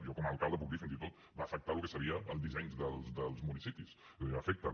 jo com a alcalde puc dir fins i tot va afectar el que serien els dissenys dels municipis és a dir afecten